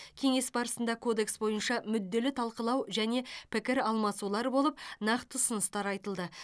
кеңес барысында кодекс бойынша мүдделі талқылау және пікір алмасулар болып нақты ұсыныстар айтылды